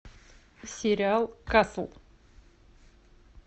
сериал касл